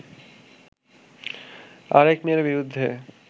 আরেক মেয়ের বিরুদ্ধে